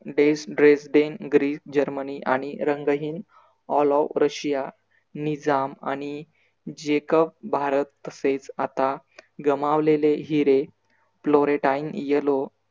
des dress den Greece Germany आणि रंगहीन ALLWO Russia निजाम आणि JACOB भारत तसेच आता गमावलेले हिरे florentine yellow